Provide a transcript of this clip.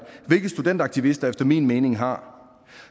hvilket studenteraktivister efter min mening har